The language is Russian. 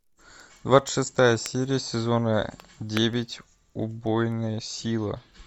двадцать шестая серия сезона девять убойная сила